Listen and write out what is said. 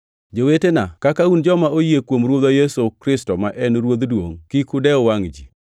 Jowetena, kaka un joma oyie kuom Ruodhwa Yesu Kristo ma en Ruodh duongʼ, kik udew wangʼ ji.